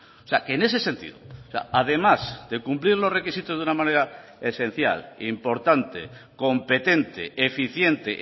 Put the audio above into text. o sea que en ese sentido además de cumplir los requisitos de una manera esencial importante competente eficiente